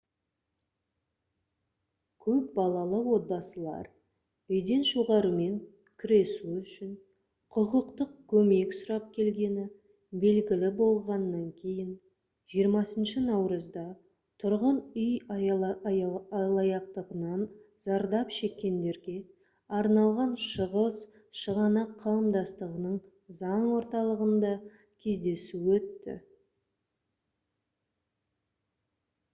көп балалы отбасылар үйден шығарумен күресу үшін құқықтық көмек сұрап келгені белгілі болғаннан кейін 20 наурызда тұрғын үй алаяқтығынан зардап шеккендерге арналған шығыс шығанақ қауымдастығының заң орталығында кездесу өтті